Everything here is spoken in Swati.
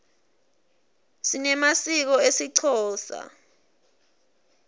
sinemasiko esixhosa